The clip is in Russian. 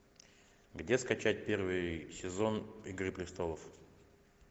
где скачать первый сезон игры престолов